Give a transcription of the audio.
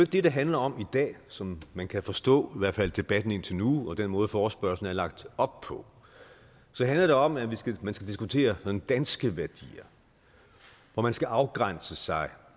det det handler om i dag som man kan forstå i hvert fald af debatten indtil nu og den måde forespørgslen er lagt op på det handler om at man skal diskutere danske værdier man skal afgrænse sig